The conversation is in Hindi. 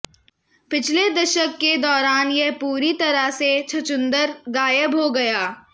पिछले दशक के दौरान यह पूरी तरह से छछूँदर गायब हो गया